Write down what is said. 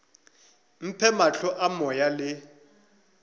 mphe mahlo a moya le